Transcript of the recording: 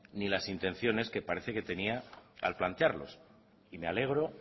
ni las intenciones que parece que tenía al plantearlos y me alegro